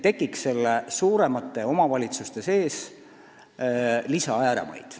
Suuremate omavalitsuste sees ei tohi tekkida uusi ääremaid.